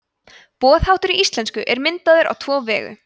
boðháttur í íslensku er myndaður á tvo vegu